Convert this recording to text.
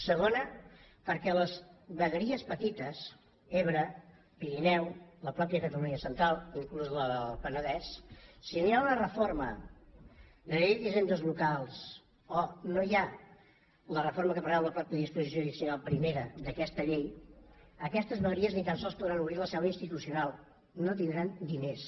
segona perquè les vegueries petites ebre pirineu la mateixa catalunya central inclús la del penedès si no hi ha una reforma de la llei d’hisendes locals o no hi ha la reforma que preveu la mateixa disposició addicional primera d’aquesta llei aquestes vegueries ni tan sols podran obrir la seu institucional no tindran diners